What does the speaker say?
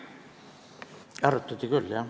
Arutati küll, jah.